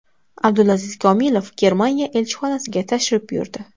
Abdulaziz Komilov Germaniya elchixonasiga tashrif buyurdi.